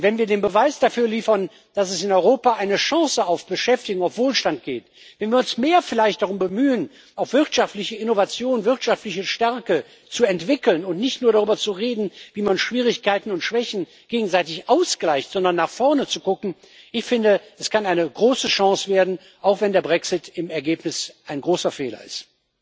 Und wenn wir den Beweis dafür liefern, dass es in Europa eine Chance auf Beschäftigung und Wohlstand gibt, wenn wir uns vielleicht mehr darum bemühen, auch wirtschaftliche Innovation, wirtschaftliche Stärke zu entwickeln und nicht nur darüber zu reden, wie man Schwierigkeiten und Schwächen gegenseitig ausgleicht, sondern nach vorne zu gucken Ich finde, das kann eine große Chance werden, auch wenn der Brexit im Ergebnis ein großer Fehler ist.